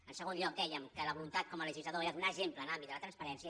en segon lloc dèiem que la voluntat com a legislador era donar exemple en l’àmbit de la transparència